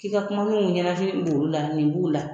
K'i ka kumaninw ɲanafin b'olu la nin b'u la